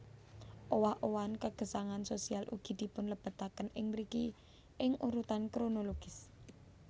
Owah owahan kagesangan sosial ugi dipunlebetaken ing mriki ing urutan kronologis